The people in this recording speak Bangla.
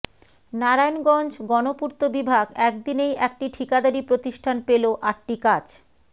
নারায়ণগঞ্জ গণপূর্ত বিভাগ এক দিনেই একটি ঠিকাদারি প্রতিষ্ঠান পেল আটটি কাজ